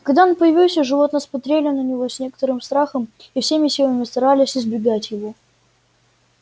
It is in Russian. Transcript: когда он появился животные смотрели на него с некоторым страхом и всеми силами старались избегать его